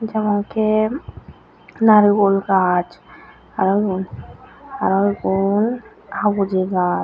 jemonki naregul gaaj aro iyun aro igun habuji gaaj.